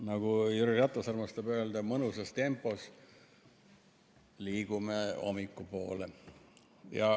Nagu Jüri Ratas armastab öelda, mõnusas tempos liigume hommiku poole.